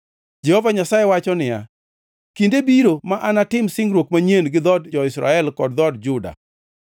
Jehova Nyasaye wacho niya, “Kinde biro ma anatim singruok manyien gi dhood jo-Israel kod dhood jo-Juda.